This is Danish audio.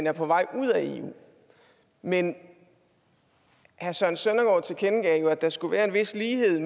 er på vej ud af eu men herre søren søndergaard tilkendegav jo at der skulle være en vis lighed